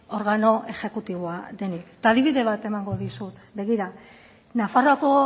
organo exekutiboa denik eta adibide bat emango dizut begira nafarroako